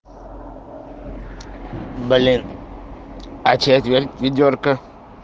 блин а четверть ведёрка